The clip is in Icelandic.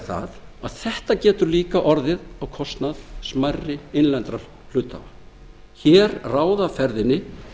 það að þetta getur líka orðið á kostnað smærri innlendra hluthafa hér ráða ferðinni